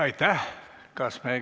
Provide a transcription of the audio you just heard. Aitäh!